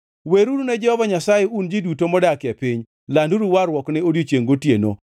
Weruru ne Jehova Nyasaye un ji duto modak e piny, landuru warruokne odiechiengʼ kodiechiengʼ.